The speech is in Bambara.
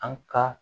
An ka